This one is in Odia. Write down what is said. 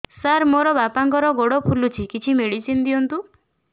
ସାର ମୋର ବାପାଙ୍କର ଗୋଡ ଫୁଲୁଛି କିଛି ମେଡିସିନ ଦିଅନ୍ତୁ